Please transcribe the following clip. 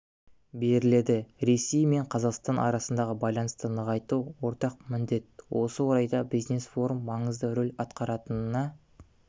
беріледі ресей мен қазақстан арасындағы байланысты нығайту ортақ міндет осы орайда бизнес-форум маңызды рөл атқаратынына